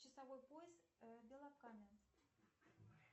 часовой пояс белокаменск